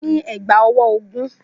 Mo ní ẹ̀gbá-ọwọ́ ogún.